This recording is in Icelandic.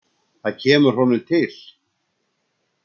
Það kemur honum til.